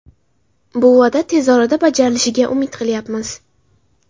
Bu va’da tez orada bajarilishiga umid qilyapmiz.